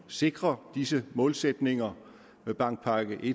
sikre disse målsætninger med bankpakke i